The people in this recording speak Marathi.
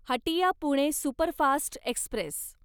Hatia Pune superfast Express